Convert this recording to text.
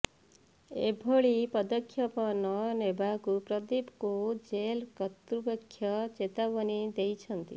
ଏଭଳି ପଦକ୍ଷେପ ନ ନେବାକୁ ପ୍ରଦୀପଙ୍କୁ ଜେଲ୍ କର୍ତ୍ତୃପକ୍ଷ ଚେତାବନୀ ଦେଇଛନ୍ତି